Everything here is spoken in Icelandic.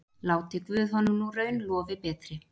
Láti guð honum nú raun lofi betri.